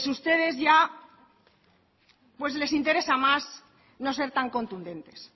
pues ustedes ya les interesa más no ser tan contundentes